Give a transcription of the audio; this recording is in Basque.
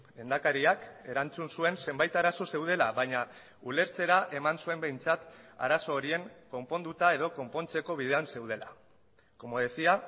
lehendakariak erantzun zuen zenbait arazo zeudela baina ulertzera eman zuen behintzat arazo horien konponduta edo konpontzeko bidean zeudela como decía